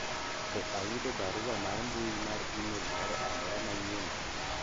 be ayudo barua mar mbui mar email moro amora manyien